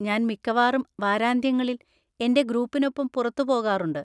ഞാൻ മിക്കവാറും വാരാന്ത്യങ്ങളിൽ എന്‍റെ ഗ്രൂപ്പിനൊപ്പം പുറത്തു പോകാറുണ്ട്.